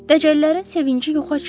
Dəcəllərin sevinci yoxa çıxır.